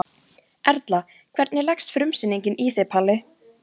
Erla: Hvernig leggst frumsýning í þig Palli?